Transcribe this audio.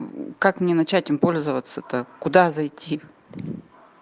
мм как мне начать им пользоваться-то так куда зайти